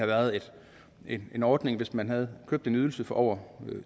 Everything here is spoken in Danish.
været en ordning hvis man havde købt en ydelse for over